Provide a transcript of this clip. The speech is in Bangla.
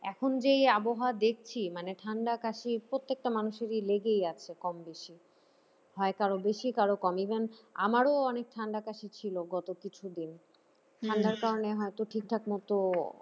এখন যে আবহাওয়া দেখছি মানে ঠান্ডা কাশি প্রত্যেকটা মানুষেরই লেগে আছে কমবেশি হয় কারো বেশি কারো কম even আমারও অনেক ঠান্ডা কাশি ছিল গত কিছুদিন ঠান্ডার কারণে হয়তো ঠিকঠাক মত